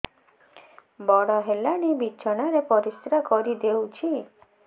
ବଡ଼ ହେଲାଣି ବିଛଣା ରେ ପରିସ୍ରା କରିଦେଉଛି